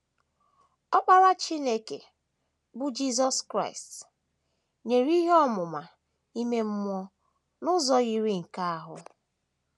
Ọkpara Chineke, bụ́ Jisọs Kraịst, nyere ihe ọmụma ime mmụọ n’ụzọ yiri nke ahụ.